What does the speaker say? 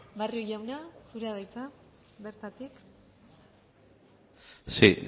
barrio jauna zurea da hitza bertatik sí